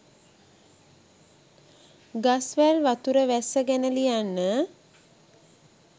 ගස් වැල් වතුර වැස්ස ගැන ලියන්න